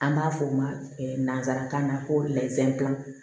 An b'a f'o ma nanzarakan na ko